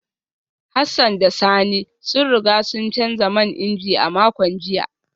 Hassan da Sani sun riga sun canza man inji a makon jiya